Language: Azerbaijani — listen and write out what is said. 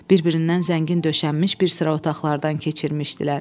Bir-birindən zəngin döşənmiş bir sıra otaqlardan keçirmişdilər.